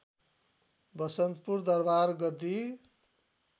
वसन्तपुर दरवार गद्दी